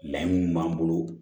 Layini m'an bolo